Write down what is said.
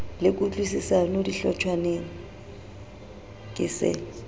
le kutlwisisano dihlotshwaneng ke se